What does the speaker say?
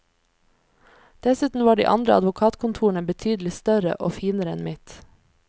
Dessuten var de andre advokatkontorene betydelig større og finere enn mitt.